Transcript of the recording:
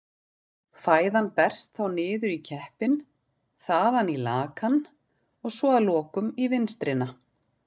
Fæðan berst þá niður í keppinn, þaðan í lakann og svo að lokum í vinstrina.